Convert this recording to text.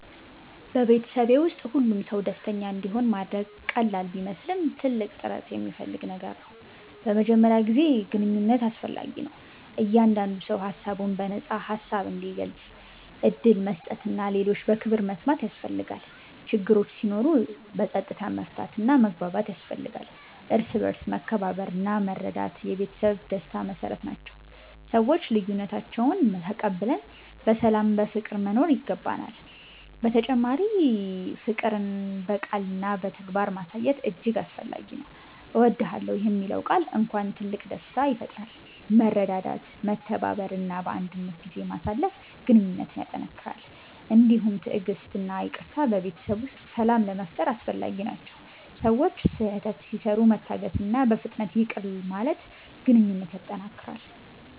በቤተሰብ ውስጥ ሁሉም ሰው ደስተኛ እንዲሆን ማድረግ ቀላል ቢመስልም ትልቅ ጥረት የሚፈልግ ነገር ነው። በመጀመሪያ ጥሩ ግንኙነት አስፈላጊ ነው፤ እያንዳንዱ ሰው ሀሳቡን በነፃ ሀሳብ እንዲገልጽ ዕድል መስጠት እና ሌሎችን በክብር መስማት ያስፈልጋል። ችግሮች ሲኖሩ በፀጥታ መፍታት እና መግባባት ያስፈልጋል፤ እርስ በርስ መከባበርና መረዳት የቤተሰብ ደስታ መሰረት ናቸው፤ ሰዎች ልዬነታችንን ተቀብለን በሰላም በፍቅር መኖር ይገባናል። በተጨማሪ ፍቅር በቃልና በተግባር ማሳየት እጅግ አስፈላጊ ነው። እወድዳለሁ የሚለው ቃል እንኳን ትልቅ ደስታ ይፈጥራል። መረዳዳት፤ መተባበር እና ባንድነት ጊዜ ማሳለፍ ግንኙነትን ያጠነክራል። እንዲሁም ትዕግሥት እና ይቅርታ በቤተሰብ ውስጥ ሰላም ለመፋጠር አስፈላጊ ናቸው፤ ሰዎች ስህተት ሲሰሩ መታገስእና በፍጥነት ይቅር ማለት ግንኘነት ያጠነክራል።